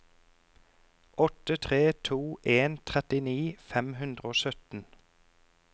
åtte tre to en trettini fem hundre og sytten